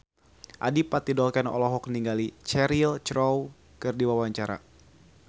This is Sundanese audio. Adipati Dolken olohok ningali Cheryl Crow keur diwawancara